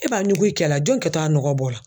E b'a ɲugu i cɛ la jɔn kɛtɔ a nɔgɔ bɔ la